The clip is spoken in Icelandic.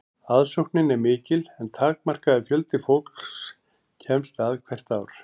aðsóknin er mikil en takmarkaður fjöldi fólks kemst að ár hvert